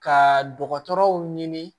Ka dɔgɔtɔrɔw ɲini